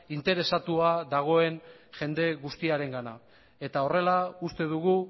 interesatua dagoen jende guztiarengana eta horrela uste dugu